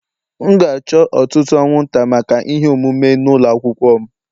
M ga-achọ ọtụtụ anwụnta maka ihe omume n'ụlọ akwụkwọ m